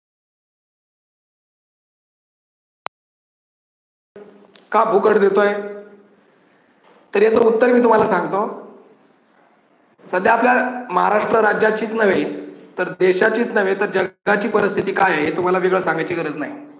का फुकट देतोय? तर याच मी उत्तर तुम्हाला सांगतो. सध्या आपल्या महाराष्ट्र राज्याचीच नव्हे तर देशाचीच नव्हे तर जगाची परिस्थिती काय आहे हे वेगळं तुम्हाला सांगायची गरज नाही.